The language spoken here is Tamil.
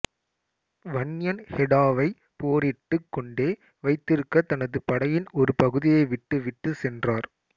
வன்யன் ஹெடாவை போரிட்டுக் கொண்டே வைத்திருக்க தனது படையின் ஒரு பகுதியை விட்டு விட்டு சென்றார்